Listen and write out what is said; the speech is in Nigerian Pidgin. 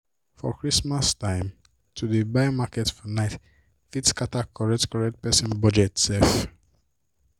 for christmas time to dey buy market for night fit scatter correct-correct person budget sef.